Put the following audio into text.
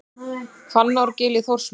Hvannárgil í Þórsmörk.